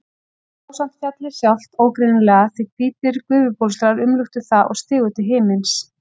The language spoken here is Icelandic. Hún sá samt fjallið sjálft ógreinilega því hvítir gufubólstrar umluktu það og stigu til himins.